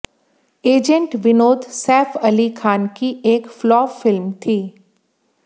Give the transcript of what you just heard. agent Vinod Saif Ali Khan की एक flop film थी